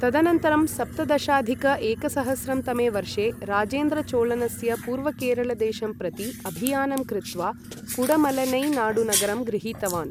तदनन्तरं सप्तदशाधिक एकसहस्रं तमे वर्षे राजेन्द्रचोलनस्य पूर्वकेरलदेशं प्रति अभियानं कृत्वा कुडमलईनाडुनगरं गृहीतवान् ।